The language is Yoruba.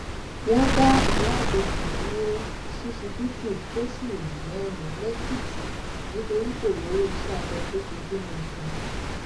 wọn dá ìyáábẹyí dúró ṣíṣíbítù fóṣù mẹrin lẹkìtì nítorí kò rówó iṣẹabẹ tó fi bímọ sàn